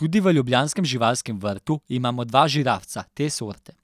Tudi v ljubljanskem živalskem vrtu imamo dva žirafca te sorte,